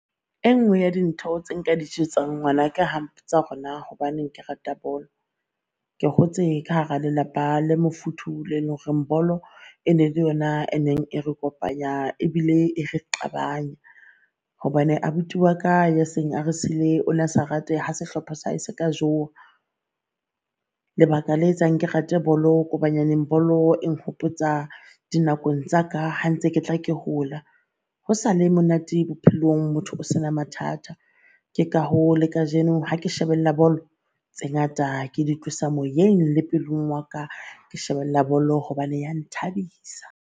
E nngwe ya dintho tse nka di jwetsang ngwanaka ha mpotsa hore naa hobaneng ke rata bolo, ke hotse ka hara lelapa le mofuthu le loreng bolo e ne le yona e neng e re kopanya ebile e re qabanya. Hobane abuti waka ya seng a re siile o na sa rate ha sehlopha sa hae se ka jewa. Lebaka la etsang ke rate bolo ko bolo e nhopotsa dinakong tsa ka ha ntse ke tla ke hola. Ho sa le monate bophelong, motho o sena mathata. Ke ka hoo le kajeno ha ke shebella bolo tse, ngata ke di moyeng le pelong waka ke shebella bolo hobane ya nthabisa.